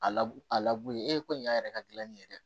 A laburu ye e ko nin y'a yɛrɛ ka gilanni ye dɛ